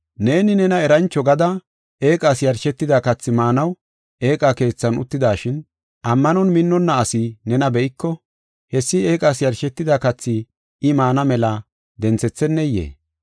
Neeni nena erancho gada eeqas yarshetida kathi maanaw eeqa keethan uttidashin, ammanon minnonna asi nena be7iko, hessi eeqas yarshetida kathi I maana mela denthetheneyee?